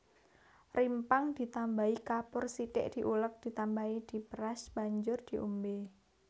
Rimpang ditambahi kapur sithik diulek ditambahi diperas banjur diombe